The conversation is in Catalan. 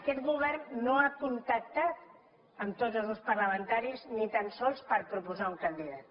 aquest govern no ha contactat amb tots els grups parlamentaris ni tan sols per proposar un candidat